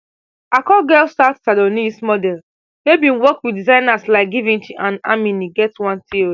akur get sat sanonese model wey bin work wit zaynas like givench and amini get one theo